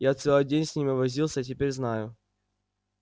я целый день с ними возился и теперь знаю